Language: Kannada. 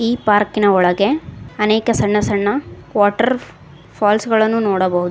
ಈ ಪಾರ್ಕಿನ ಒಳಗೆ ಅನೇಕ ಸಣ್ಣ ಸಣ್ಣ ವಾಟರ್ ಫಾಲ್ಸ್ ಗಳನ್ನು ನೋಡಬಹುದು.